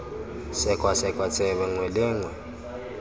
sekwasekwa tsebe nngwe le nngwe